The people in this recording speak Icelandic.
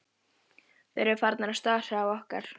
Þeir eru farnir að stara á okkar.